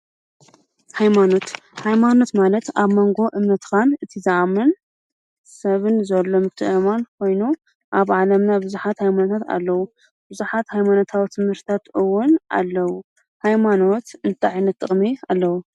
ሃይማኖት ሃይማኖት ማለት ኣብ ሞንጎ እምነትካን ትዝኣምኖን ሰብን ዘሎ ምትእምማን ኮይኑ ኣብ ዓለምና ብዙሓት ሃይማኖት ኣለዉ። ብዙሓት ሃይማኖታዊ ትምህርትታት እውን ኣለው። ሃይማኖት እንታይ ዓይነት ጥቅሚ ኣለዎ?